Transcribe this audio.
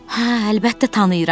Hə, əlbəttə tanıyıram.